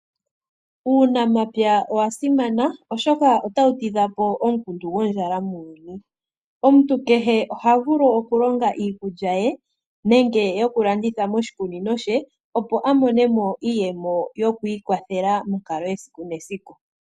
Uunamapya owa simana oshoka otawu tidha po omukundu gondjala muuyuni, omuntu kehe oha vulu okulonga iikulya ye nenge yokulanditha moshikunino she opo amone iiyemo yo kwiikwathela mokalo yesiku nesiku.